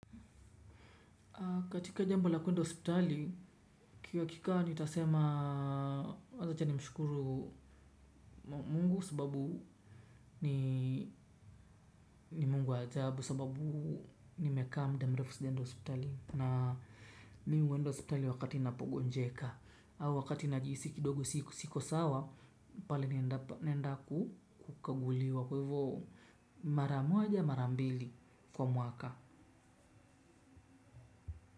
Katika jambo la kuenda hospitali, ki hakika nitasema wacha nimshukuru mungu sababu ni mungu wa ajabu, sababu nimekaa muda mrefu sijaenda hospitali. Na mi huenda hospitali wakati napogonjeka, au wakati najisi kidogo siko sawa, pale naenda kukaguliwa. Kwe hivo, mara moja mara mbili kwa mwaka.